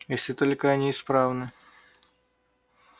если только они исправны